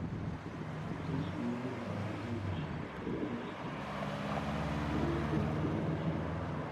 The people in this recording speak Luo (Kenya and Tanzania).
Faras miyo ng'ato rit maber sama owuotho e thim gotieno.